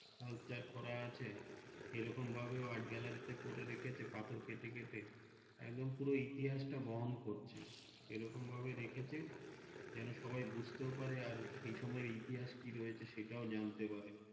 কাজ করার সে রকম ভাবে Art Gallery তে করে রেখে পাথর কেটে কেটে একদমপুর ইতিহাস তা বহন করছে সে রকম ভাবে রেখেছে যেন সবাই বুঝতেও পারেবে আর সেই সময় ইতিহাস কি রয়েছে সেটাও জানতে পারবে।